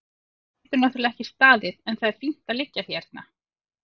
Við getum náttúrlega ekki staðið en það er fínt að liggja hérna.